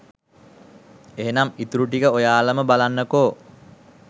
එහෙනම් ඉතුරු ටික ඔයාලම බලන්නකෝ